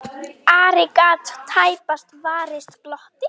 Ari gat tæpast varist glotti.